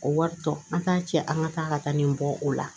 O wari tɔ an t'a cɛ an ka taa ka taa nin bɔ o la